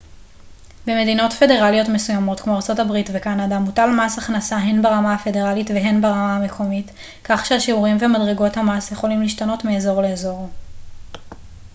במדינות פדרליות מסוימות כמו ארצות הברית וקנדה מוטל מס הכנסה הן ברמה הפדרלית והן ברמה המקומית כך שהשיעורים ומדרגות המס יכולים להשתנות מאזור לאזור